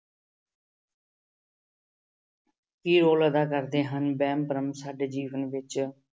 ਕੀ role ਅਦਾ ਕਰਦੇ ਹਨ ਵਹਿਮ ਭਰਮ ਸਾਡੇ ਜੀਵਨ ਵਿੱਚ।